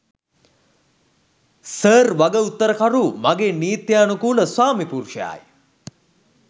Sir වගඋත්තරකරු මගේ නිත්‍යනුකූල ස්‌වාමිපුරුෂයායි.